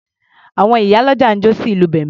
Àwọn ìyá ọlọ́jà ń jó sí ìlù bẹ̀m̀bẹ́.